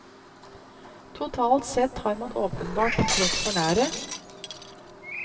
Totalt sett har man åpenbart trådt for nære.